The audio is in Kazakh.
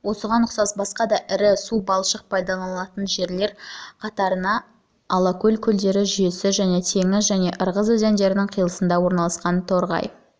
осыған ұқсас басқа да ірі су-балшықтық пайдаланылатын жерлер қатарына алакөл көлдері жүйесі және теңіз және ырғыз өзендерінің қиылысында орналасқан терғай